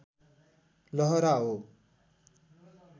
लहरा हो